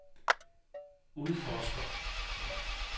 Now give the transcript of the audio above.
udforsker